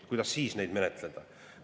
Kuidas siis kõike menetleda?